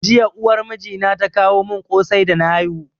Jiya uwar mijina ta kawo mun kosai da na haihu